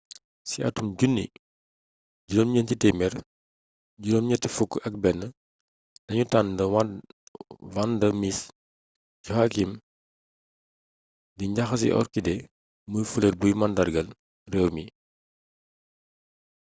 ci atum 1981 lañu tànn vanda miss joaquim di njaxasi orchidée muy fleur buy màndargaal réew mi